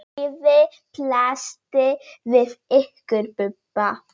Lífið blasti við ykkur Bubba.